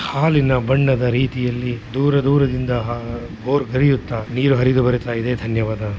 ಹಾಲಿನ ಬಣ್ಣದ ರೀತಿಯಲ್ಲಿ ದೂರ ದೂರದಿಂದ ಭೋರ್ಗರೆಯುತ್ತ ನೀರು ಹರಿದು ಬರುತ್ತಾ ಇದೆ ಧನ್ಯವಾದ.